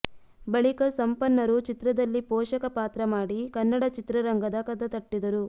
ಬಳಿಕ ಸಂಪನ್ನರು ಚಿತ್ರದಲ್ಲಿ ಪೋಷಕ ಪಾತ್ರ ಮಾಡಿ ಕನ್ನಡ ಚಿತ್ರರಂಗದ ಕದ ತಟ್ಟಿದರು